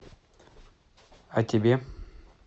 о тебе